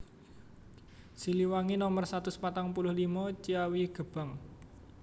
Siliwangi Nomer satus patang puluh limo Ciawigebang